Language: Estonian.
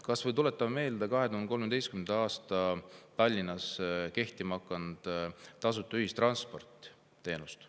Kas või tuletan meelde 2013. aastal Tallinnas kehtima hakanud tasuta ühistransporditeenust.